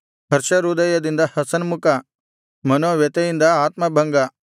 ಹರ್ಷ ಹೃದಯದಿಂದ ಹಸನ್ಮುಖ ಮನೋವ್ಯಥೆಯಿಂದ ಆತ್ಮಭಂಗ